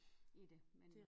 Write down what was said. I det men